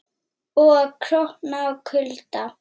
Og að krókna úr kulda.